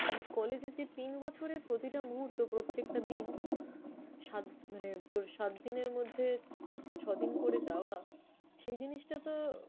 মানে collage এর যে তিন বছরের প্রতিটা মুহূর্ত, প্রত্যেকটা দিন সাত মানে তোর সাত দিনের মধ্যে ছদিন করে যাওয়া, সেই জিনিসটাতো